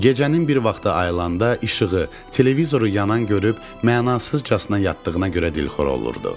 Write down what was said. Gecənin bir vaxtı ayılında işığı, televizoru yanan görüb mənasızcasına yatdığına görə dilxor olurdu.